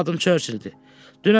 Mənim adım Churchilldir.